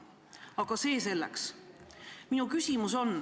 Aga see selleks.